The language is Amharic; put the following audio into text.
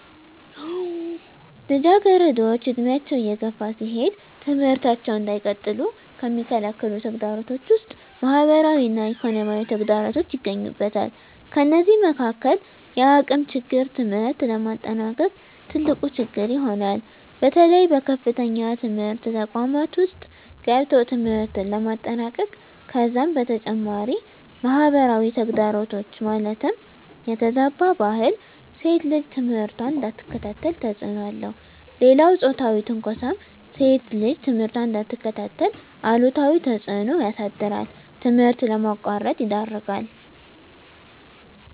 ልጃገረዶች ዕድሜያቸው እየገፋ ሲሄድ ትምህርታቸውን እንዳይቀጥሉ ከሚከለክሉ ተግዳሮቶች ውስጥ ማህበራዊ እና ኢኮኖሚያዊ ተግዳሮቶች ይገኙበታል። ከነዚህም መካካል የአቅም ችግር ትምህርት ለማጠናቀቅ ትልቁ ችግር ይሆናል። በተለይ በከፍተኛ ትምህርት ተቋማት ውስጥ ገብቶ ትምህርትን ለማጠናቀቅ ከዛም በተጨማሪ ማህበራዊ ተግዳሮት ማለትም የተዛባ ባህል ሴት ልጅ ትምህርቷን እንዳትከታተል ተፅዕኖ አለው። ሌላው ፆታዊ ትንኳሳም ሴት ልጅ ትምህርቷን እንዳትከታተል አሉታዊ ተፅዕኖ ያሳድራል ትምህርት ለማቋረጥ ይዳርጋል።